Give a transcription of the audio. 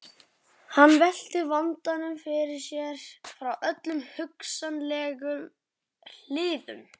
Hann velti vandanum fyrir sér frá öllum hugsanlegum hliðum.